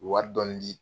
U ye wari dɔɔni di